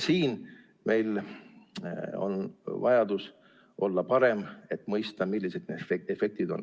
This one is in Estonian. Siin on meil vajadus olla parem, et mõista, millised need efektid on.